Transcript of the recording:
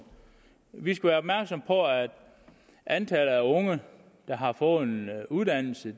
vi skal være opmærksomme på at antallet af unge der har fået en uddannelse